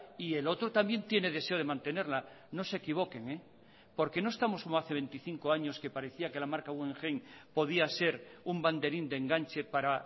y el otro también tiene deseo de mantenerla no se equivoquen porque no estamos como hace veinticinco años que parecía que la marca guggenheim podía ser un banderín de enganche para